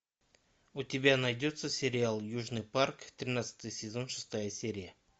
у тебя найдется сериал южный парк тринадцатый сезон шестая серия